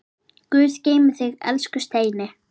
Guð geymi þig, elsku Steini.